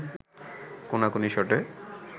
কোনাকুনি শটে